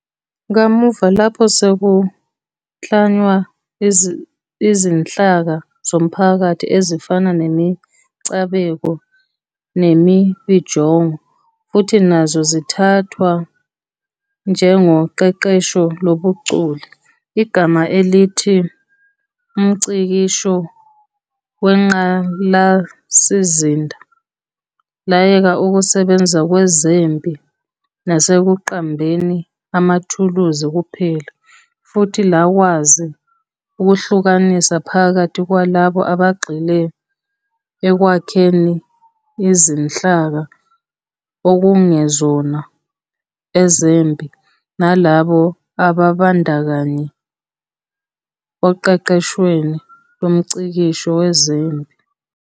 Kamuva, lapho sekuklanywa izinhlaka zomphakathi, ezifana nemicabeko nemibijongo, futhi nazo zithathwa njengoqeqesho lobuchule, igama elithi 'umngcikisho wengqalasizinda' layeka ukusebenza kwezempi nasekuqambeni amathuluzi kuphela, futhi lakwazi ukuhlukanisa phakathi kwalabo abagxile ekwakheni izinhlaka onkungezona ezempi nalabo ababandakanyeka oqeqeshweni lomngcikisho wezempi.